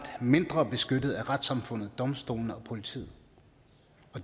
mindre beskyttet af retssamfundet domstolene og politiet